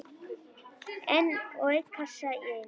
Einn og einn kassa í einu.